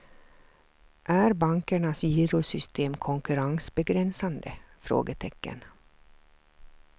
Är bankernas girosystem konkurrensbegränsande? frågetecken